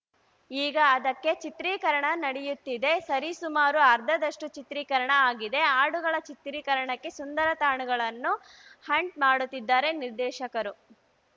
ಈಗ ಅದಕ್ಕೆ ಚಿತ್ರೀಕರಣ ನಡೆಯುತ್ತಿದೆ ಸರಿ ಸುಮಾರು ಅರ್ಧದಷ್ಟುಚಿತ್ರೀಕರಣ ಆಗಿದೆ ಹಾಡುಗಳ ಚಿತ್ರೀಕರಣಕ್ಕೆ ಸುಂದರ ತಾಣಗಳನ್ನು ಹಂಟ್‌ ಮಾಡುತ್ತಿದ್ದಾರೆ ನಿರ್ದೇಶಕರು